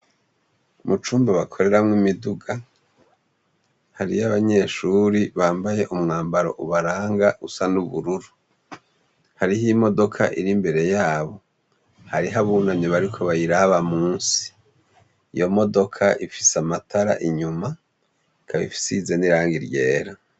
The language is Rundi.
Mu cumba bakoreramwo imiduga, hariyo abanyeshure bambaye umwambaro ubaranga usa n'ubururu. Hariho imodoka iri imbere yabo, hariho abunamye bariko bayiraba musi. Iyo modoka ifise amatara inyuma, ikaba isize n'irangi ryera.